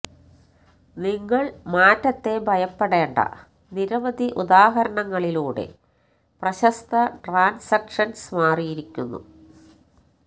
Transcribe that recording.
നിങ്ങൾ മാറ്റത്തെ ഭയപ്പെടേണ്ട നിരവധി ഉദാഹരണങ്ങളിലൂടെ പ്രശസ്ത ട്രാൻസ്സെക്ഷൻസ് മാറിയിരിക്കുന്നു